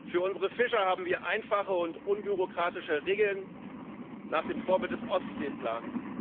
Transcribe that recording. Für unsere Fischer haben wir einfache und unbürokratische Regeln nach dem Vorbild des Ostseeplans.